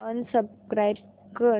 unsubscribe कर